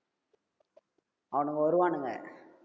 அவனுங்க வருவானுங்க